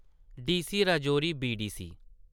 DC Rajouri BDC